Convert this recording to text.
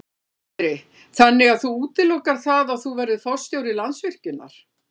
Sindri: Þannig að þú útilokar það að þú verðir forstjóri Landsvirkjunar?